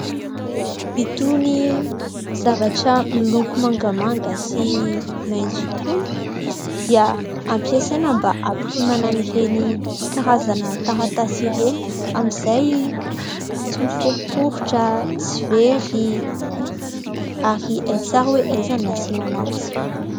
Itony zavatra miloko mangamanga sy maintso itony dia ampiasaina mba hampirimana ireny karazana taratasy ireny amin'izay tsy miforoporotra, tsy very ary Hay tsara hoe aiza ny asina anazy.